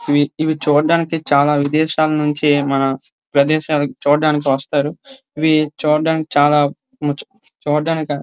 ఇవి ఇవి చూడ్డానికి చాలా విదేశాల నుంచి మన ప్రదేశాలకు చూడ్డానికి వస్తారు ఇవి చూడ్డానికి చాలా చూడ్డానికి--